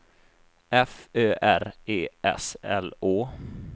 F Ö R E S L Å